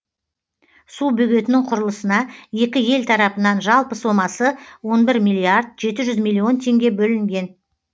су бөгетінің құрылысына екі ел тарапынан жалпы сомасы он бір миллиард жеті жүз миллион теңге бөлінген